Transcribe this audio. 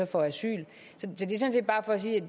for at sige at